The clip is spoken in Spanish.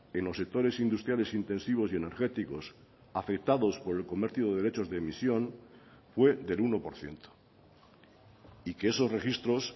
en los sectores industriales intensivos y energéticos afectados por el comercio de derechos de emisión fue del uno por ciento y que esos registros